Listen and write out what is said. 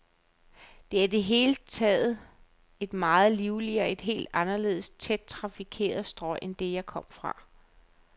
Det er i det hele taget et meget livligere, et helt anderledes tæt trafikeret strøg end det, jeg kom fra.